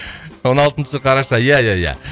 он алтыншы қараша ия ия ия